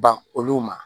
Ban olu ma